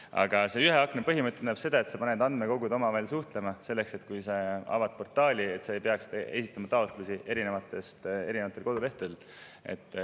Aga see ühe akna põhimõte tähendab seda, et andmekogud pannakse omavahel suhtlema, selleks et portaali ei peaks esitama taotlusi erinevatel kodulehtedel.